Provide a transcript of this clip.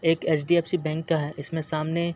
एक HDFC. Bank का है इसमें सामने --